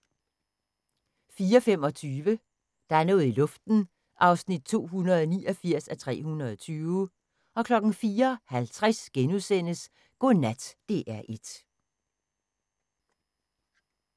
04:25: Der er noget i luften (289:320) 04:50: Godnat DR1 *